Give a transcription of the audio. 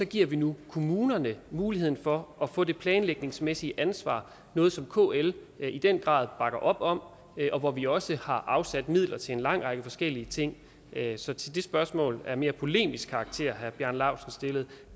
giver vi nu kommunerne muligheden for at få det planlægningsmæssige ansvar noget som kl i den grad bakker op om og hvor vi også har afsat midler til en lang række forskellige ting så til det spørgsmål af mere polemisk karakter herre bjarne laustsen stillede